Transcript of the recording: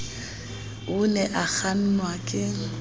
o ne a kgannwa ke